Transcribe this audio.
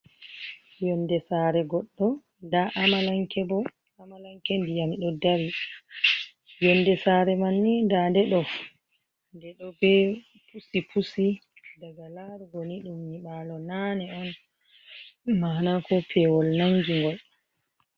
Yonde sare goɗɗo nda amalanke bo, amalanke ndiyam ɗo dari, yonde sare man ni nda nde ɗo, nde ɗo be pusi pusi daga larugo ni ɗum nyiɓalo nane on mana ko pewol nangi ngol.